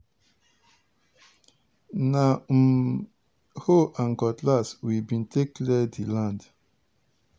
na um hoe and cutlass we bin take clear di land.